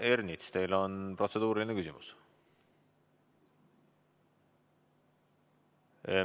Härra Ernits, teil on protseduuriline küsimus.